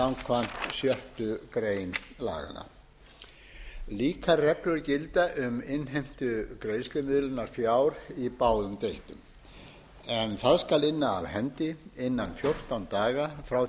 smábáta samkvæmt sjöttu grein laganna líkar reglur gilda um innheimtu greiðslumiðlunarfjár í báðum deildum en það skal inna af hendi innan fjórtán daga frá